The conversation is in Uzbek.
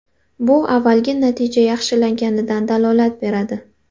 Bu avvalgi natija yaxshilanganidan dalolat beradi.